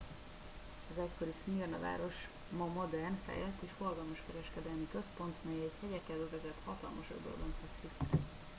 az egykori szmirna város ma modern fejlett és forgalmas kereskedelmi központ mely egy hegyekkel övezett hatalmas öbölben fekszik